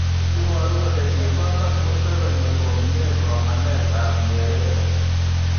Iboru kole kisoman Museveni komnye somanet ab Nyerere.